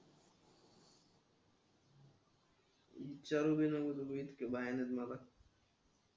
ईचारू बी नको इतक भयानक मला.